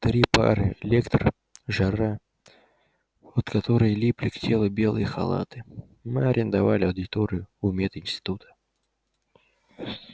три пары лектор жара от которой липли к телу белые халаты мы арендовали аудиторию у мединститута